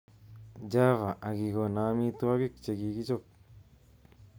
Java akikono amitwogik chekichob